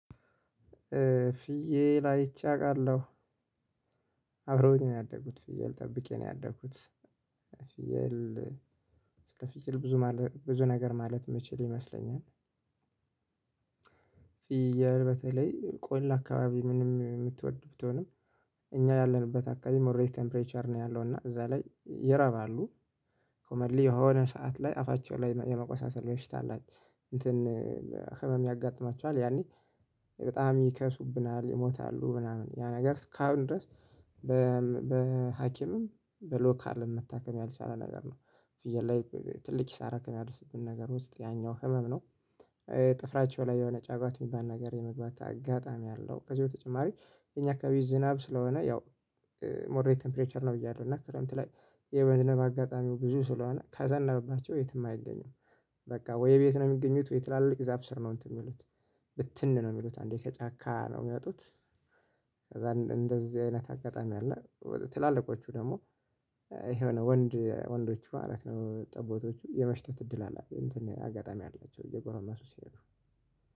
ፍየል አይቼ አውቃለሁ። አብረውኝ ነው ያደጉት ፍየል ጠብቄ ነው ያደግኩት። ፊያል ስለፊያል ብዙ ብዙ ነገር ማለት የምችል ይመስለኛል። ፊየል በተለይ ቆላ አካባቢ ምንም የምትወድ ቢቶንም። እኛ ያለንበት አካባቢ ሞሬት ቴምፕሬቸር ነው ያለው እና እዚያ ላይ ይረባሉ። ኮመንሊ የሆነ ሰዓት ላይ አፋቸው ላይ የመቆሳሰል በሽታ አላት። እንትን ህመም ያጋጥማቸዋል ያኔ በጣም ይከሱብናል ይሞታሉ ምናምን ያ ነገር እስካሁን ድረስ። በሀኪምም በሎካልም መታከም ያልቻለ ነገር ነው። ፍየል ላይ ትልቅ ክሳር ከምያደርስብን ነገር ውስጥ ያኛው ህመም ነው። ጥፍራቸው ላይ የሆነ ጫጓት የሚባል ነገር የመግባት አጋጣሚ አለው። ከዚህ በተጨማሪ እኛ አከባቢ ዝናብ ስለሆነ ያው ሞሬ ቴምፕሬቸር ነው ብያለው እና ክረምት ላይ የመዝነብ አጋጣሚው ብዙ ስለሆነ ካዘነበባቸው የትም አይገኝም። በቃ ወይ ቤት ነው የሚገኙት ወይ ትላልቅ ዛፍ ስር ነው እንትን የሚሉት። ብትን ነው የሚሉት አንዴ ከጫካ ነው የሚያወጡት። ከዚያ እንደዚህ አይነት አጋጣሚ አለ ትላልቆቹ ደግሞ ይሄ ወንድ ወንዶች ማለት ነው ጠቦቶቹ የመሽተት እድል አለ እንትን አጋጣሚ አላቸው እየጎረሱ ሲሄዱ።